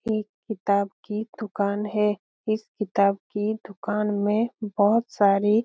एक किताब की दुकान है इस किताब की दुकान में बहोत सारी --